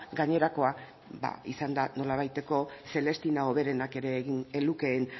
gainerakoa ba izan da nolabaiteko celestina hoberenak ere egin ez lukeen